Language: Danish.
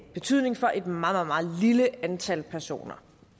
betydning for et meget meget lille antal personer